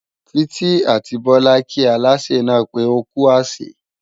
Títí àti Bọlá kí Aláṣẹ náà pé ókú àsè